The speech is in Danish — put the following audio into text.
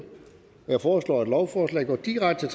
jeg foreslår at lovforslaget går direkte